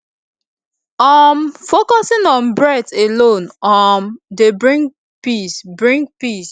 um focusing on breath alone um dey bring peace bring peace